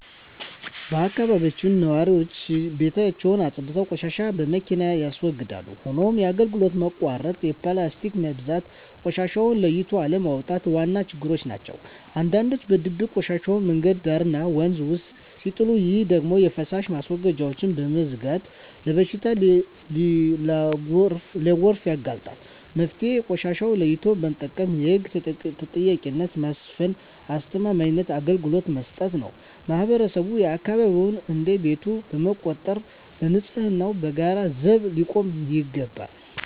በአካባቢያችን ነዋሪዎች ቤታቸውን አፅድተው ቆሻሻን በመኪና ያስወግዳሉ። ሆኖም የአገልግሎት መቆራረጥ፣ የፕላስቲክ መብዛትና ቆሻሻን ለይቶ አለማስቀመጥ ዋና ችግሮች ናቸው። አንዳንዶች በድብቅ ቆሻሻን መንገድ ዳርና ወንዝ ውስጥ ሲጥሉ፣ ይህ ደግሞ የፍሳሽ ማስወገጃዎችን በመዝጋት ለበሽታና ለጎርፍ ያጋልጣል። መፍትሄው ቆሻሻን ለይቶ መጠቀም፣ የህግ ተጠያቂነትን ማስፈንና አስተማማኝ አገልግሎት መስጠት ነው። ማህበረሰቡም አካባቢውን እንደ ቤቱ በመቁጠር ለንፅህናው በጋራ ዘብ ሊቆም ይገባል።